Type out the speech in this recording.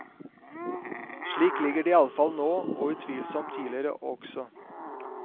Slik ligger de iallfall nå og utvilsomt tidligere også.